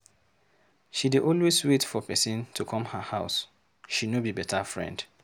She dey always wait for pesin to come her house, she no be beta friend.